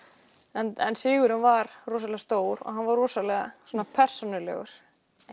en sigurinn var rosalega stór og hann var rosalega persónulegur